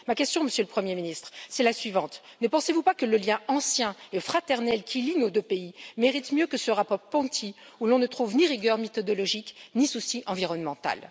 Ma question, Monsieur le Premier ministre est la suivante ne pensez vous pas que le lien ancien et fraternel qui lie nos deux pays mérite mieux que ce rapport Ponti, où l'on ne trouve ni rigueur méthodologique, ni souci environnemental?